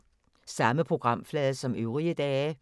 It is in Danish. Samme programflade som øvrige dage